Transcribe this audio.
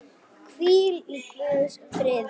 Hvíl í Guðs friði.